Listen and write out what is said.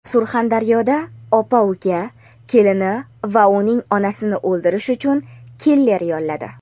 Surxondaryoda opa-uka kelini va uning onasini o‘ldirish uchun "killer" yolladi.